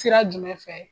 Sira jumɛn fɛ